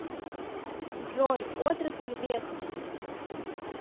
джой отрасль веспа